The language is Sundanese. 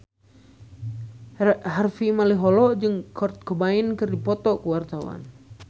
Harvey Malaiholo jeung Kurt Cobain keur dipoto ku wartawan